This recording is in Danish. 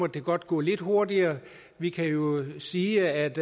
det godt gå lidt hurtigere vi kan jo sige at